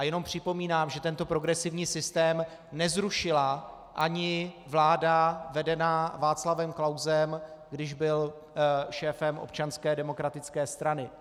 A jenom připomínám, že tento progresivní systém nezrušila ani vláda vedená Václavem Klausem, když byl šéfem Občanské demokratické strany.